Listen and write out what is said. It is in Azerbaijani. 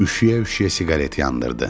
Üşüyə-üşüyə siqaret yandırdı.